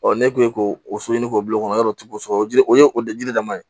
ne kun ye k'o so ɲini k'o bila o kɔnɔ yɔrɔ tɛ k'o sɔrɔ o ji o ye o jiri dama ye